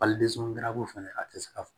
fɛnɛ a tɛ se ka fɔ